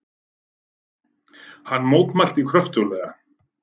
Hann mótmælti kröftuglega.